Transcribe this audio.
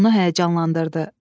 Bu onu həyəcanlandırdı.